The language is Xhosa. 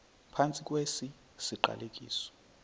phantsi kwesi siqalekiso